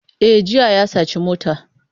E, jiya ya saci mota.